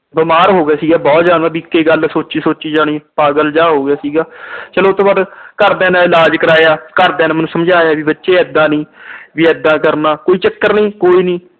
ਬੀਮਾਰ ਹੋ ਗਿਆ ਸੀਗਾ ਬਹੁਤ ਜਿਆਦਾ ਵੀ ਇਕੇ ਗੱਲ ਸੋਚੀ-ਸੋਚੀ ਜਾਣੀ। ਪਾਗਲ ਜਿਹਾ ਹੋ ਗਿਆ ਸੀਗਾ, ਚਲੋ ਉਹਤੋ ਬਾਅਦ ਘਰਦਿਆਂ ਨੇ ਇਲਾਜ ਕਰਵਾਇਆ। ਘਰਦਿਆਂ ਨੇ ਮੈਨੂੰ ਸਮਝਾਇਆ ਕਿ ਬੱਚੇ ਇਦਾਂ ਨੀ, ਵੀ ਏਦਾਂ ਕਰਨਾ, ਕੋਈ ਚੱਕਰ ਨੀ, ਕੋਈ ਨੀ।